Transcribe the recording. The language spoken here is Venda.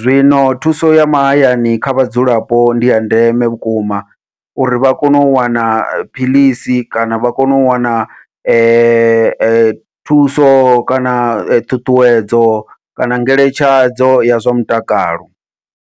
zwino thuso ya mahayani kha vhadzulapo ndiya ndeme vhukuma uri vha kone u wana phiḽisi kana vha kone u wana thuso kana ṱhuṱhuwedzo kana ngeletshedzo ya zwa mutakalo.